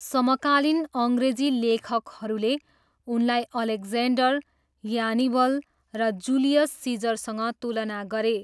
समकालीन अङ्ग्रेजी लेखकहरूले उनलाई अलेक्जेन्डर, ह्यानिबल र जुलियस सिजरसँग तुलना गरे।